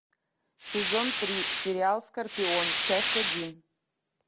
сезон три сериал скорпион часть один